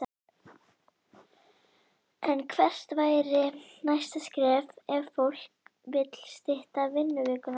En hvert væri næsta skref ef fólk vill stytta vinnuvikuna?